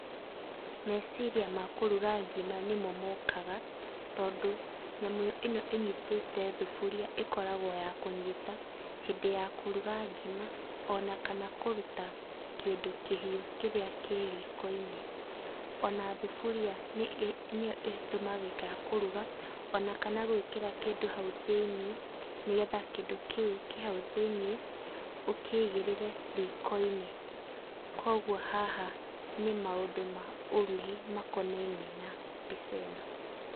Meciria makũruga ngima nĩmo mokaga, tondũ nyamũ ĩno ĩnyĩtĩte thuburia ĩkoragwo ya kũnyita, hĩndĩ ya kũruga ngima, ona kana kũruta kĩndũ kĩhiũ kĩrĩa kĩriko-inĩ. Ona thuburia nĩyo ĩtumĩkaga kũruga, ona kana gũĩkĩra kĩndũ hau thĩini, nĩgetha kĩndũ kĩu kĩhau thĩini ũkĩigĩrĩre riko-inĩ. Koguo haha nĩ maũndũ ma ũrugi makonainie na mbica ĩno.